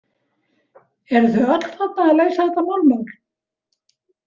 Eruð þið öll þarna að leysa þetta morðmál?